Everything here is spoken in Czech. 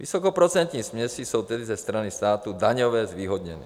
Vysokoprocentní směsi jsou tedy ze strany státu daňově zvýhodněny.